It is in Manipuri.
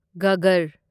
ꯘꯥꯒꯔ